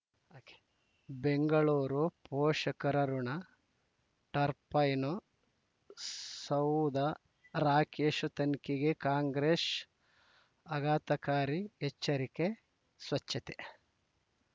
ಬೆಂಗಳೂರು ಪೋಷಕರಋಣ ಟರ್ಬೈನು ಸೌಧ ರಾಕೇಶ್ ತನಿಖೆಗೆ ಕಾಂಗ್ರೆಸ್ ಆಘಾತಕಾರಿ ಎಚ್ಚರಿಕೆ ಸ್ವಚ್ಛತೆ